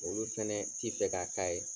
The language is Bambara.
Olu fɛnɛ ti fɛ ka k'a ye.